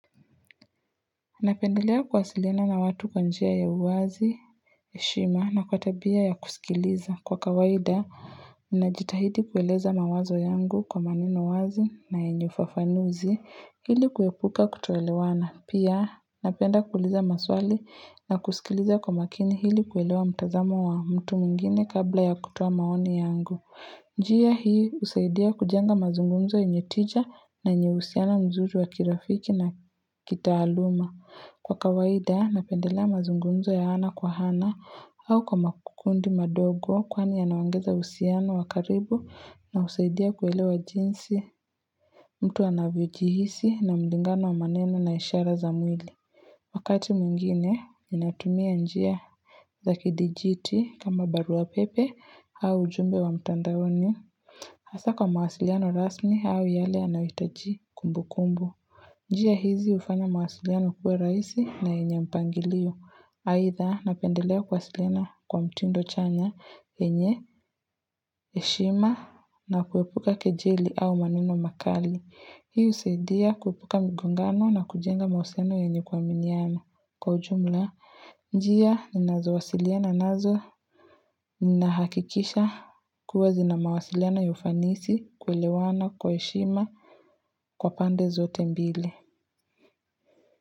Napendelea kuwasiliana na watu kwa njia ya uwazi, heshima na kwa tabia ya kusikiliza. Kwa kawaida, ninajitahidi kueleza mawazo yangu kwa maneno wazi na yenye ufafanuzi ili kuepuka kutoelewana. Pia, napenda kuuliza maswali na kusikiliza kwa makini ili kuelewa mtazamo wa mtu mungine kabla ya kutoa maoni yangu. Njia hii usaidia kujenga mazungumzo yenye tija na yenye uhusiano mzuri wa kirafiki na kitaaluma. Kwa kawaida napendelea mazungumzo ya ana kwa hana au kwa makundi madogo kwani yanaongeza uhusiano wa karibu na husaidia kuelewa jinsi mtu anavyo jihisi na mlingano wa maneno na ishara za mwili Wakati mwingine ninatumia njia za kidijiti kama barua pepe au ujumbe wa mtandaoni Hasa kwa mawasiliano rasmi au yale yanayoitaji kumbu kumbu njia hizi ufanya mawasiliano kuwe rahisi na yenye mpangilio, aidha napendelea kuwasiliana kwa mtindo chanya, yenye, heshima, na kuwepuka kejeli au maneno makali. Hii husaidia kuepuka mgongano na kujenga mawasiliano yenye kuaminiana. Kwa ujumla, njia ninazowasiliana nazo nina hakikisha kuwa zina mawasiliano ya ufanisi kuelewana kwa heshima kwa pande zote mbili.